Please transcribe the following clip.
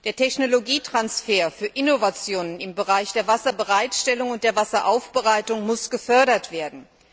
Der Technologietransfer für Innovationen im Bereich der Wasserbereitstellung und der Wasseraufbereitung muss gefördert werden.